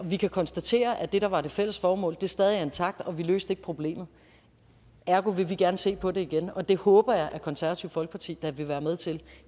vi kan konstatere at det der var det fælles formål stadig er intakt og vi løste problemet ergo vil vi gerne se på det igen og det håber jeg da at konservative folkeparti vil være med til